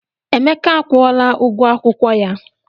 Emeka akwụla ụgwọ akwụkwọ ya.